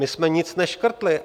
My jsme nic neškrtli.